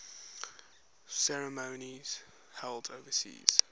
ceremonies held overseas